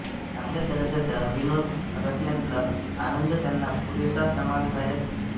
चांगल्या दर्जाचा विनोद रचण्यातला आनंद त्यांना पुरेसा समाधानदायक